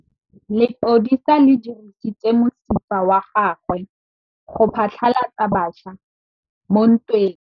Lepodisa le dirisitse mosifa wa gagwe go phatlalatsa batšha mo ntweng.